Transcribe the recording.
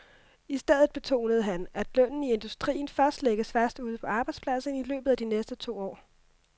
I stedet betonede han, at lønnen i industrien først lægges fast ude på arbejdspladserne i løbet af de næste to år.